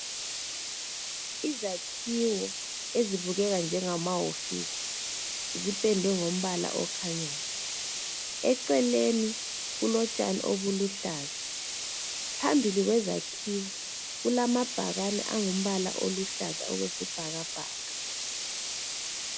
Izakhiwo ezibukeka njemahofisi ziphendwe ngombala okhanyayo. Eceleni kulotshani oluluhlaza. Phambili kwezakhiwo kulamabhakani alumbala uluhlaza okwesbhakabhaka.